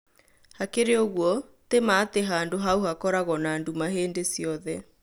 Hakĩrĩ ũgũo, tĩ ma atĩ handũ haũ hakoragwo na nduma hindĩ ciothe